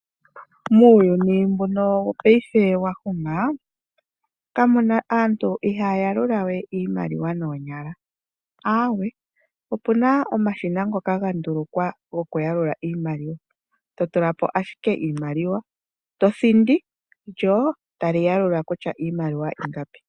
Muyuni mbuka wopaife wa huma aantu ihaya yalula we iimaliwa noonyala, aawe opu na omashina ngoka gandulukwa po gokuyalula iimaliwa, totula po ashike iimaliwa tothindi lyo tali yalula kutya iimaliwa oyi li ingapi.